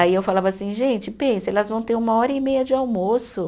Aí eu falava assim, gente, pensa, elas vão ter uma hora e meia de almoço.